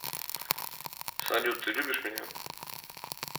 салют ты любишь меня